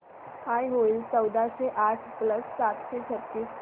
काय होईल चौदाशे आठ प्लस सातशे छ्त्तीस